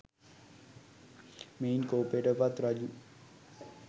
මෙයින් කෝපයට පත් රජු